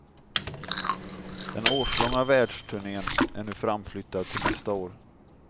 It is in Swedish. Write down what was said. Den årslånga världsturnén är nu framflyttad till nästa år.